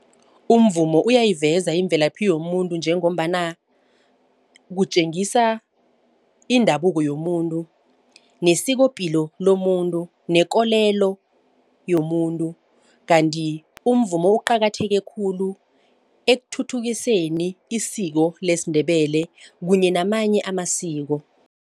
Umvumo uyayiveza imvelaphi yomuntu njengombana kutjengisa indabuko yomuntu, nesikopilo lomuntu, nekolelo yomuntu. Kanti umvumo uqakatheke khulu ekuthuthukiseni isiko lesiNdebele kunye namanye amasiko.